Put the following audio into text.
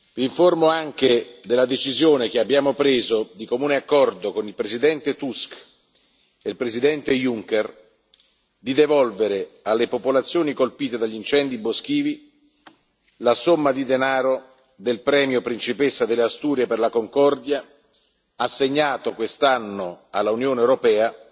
Vi informo anche della decisione che abbiamo preso, di comune accordo con il Presidente Tusk e il Presidente Juncker, di devolvere alle popolazioni colpite dagli incendi boschivi la somma di denaro del premio Principessa delle Asturie per la concordia, assegnato quest'anno all'Unione europea,